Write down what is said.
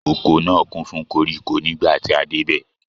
Oko náà kún fún koríko nígbàtí a dé bẹ̀